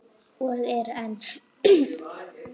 Og eru enn.